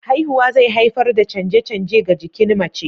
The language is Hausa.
Haihuwa zai haifar da canje-canje ga jikin mace.